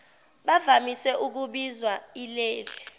bavamise ukubizwa ileli